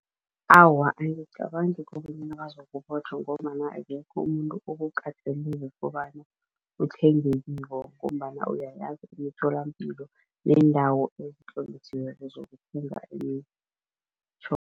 Awa, angicabangi kobanyana bazokubotjhwa ngombana akekho umuntu okukatelile kobana uthenge kibo ngombana uyayazi imitholampilo neendawo ezitlolisiweko zokuthenga imitjhoga.